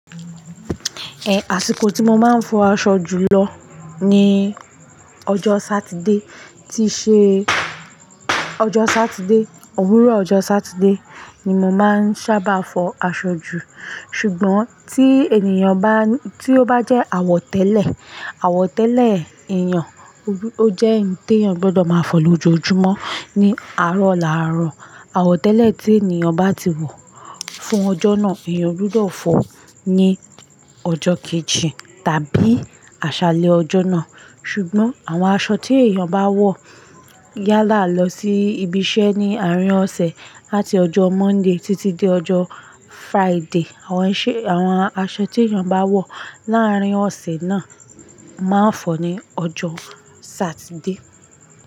Eh, àsìkò tí mo máa ń fọ aṣọ jùlọ ni ọjọ́ Saturday. Tí ṣe ọjọ́ Saturday, òwúrọ̀ ọjọ́ Saturday ni mo máa ń sábà fọ aṣọ jù. Ṣùgbọ́n tí ènìyàn bá, tí ó bá jẹ́ àwọ̀ tẹ́lẹ̀, àwọ̀ tẹ́lẹ̀ èeyàn, ó jẹ́ hin tèyàn gbọdọ̀ máa fọ lójoojúmọ́ ní àárọ̀ làárọ̀. Àwọ̀ tẹ́lẹ̀ tí ènìyàn bá ti wọ fún ọjọ́ náà, èèyàn gbọdọ̀ fọ ní ọjọ́ kejì tàbí àṣálẹ́ ọjọ́ náà. Ṣùgbọ́n àwọn aṣọ tí èèyàn bá wọ yálà lọ sí ibi iṣẹ́ ní àárín ọ̀sẹ̀ láti ọjọ́ Monday títí dé ọjọ́ Friday, àwọn iṣẹ́, àwọn aṣọ tí èèyàn bá wọ̀ láàárín ọ̀sẹ̀ náà máa ń fọ ní ọjọ́ Saturday.